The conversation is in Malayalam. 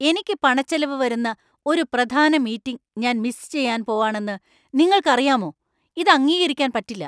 എനിക്ക് പണച്ചെലവ് വരുന്ന ഒരു പ്രധാന മീറ്റിങ് ഞാന്‍ മിസ് ചെയ്യാൻ പോവാണെന്ന് നിങ്ങൾക്കറിയാമോ? ഇത് അംഗീകരിക്കാൻ പറ്റില്ല .